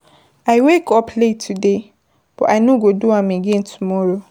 I wake up late today, but I no go do am tomorrow.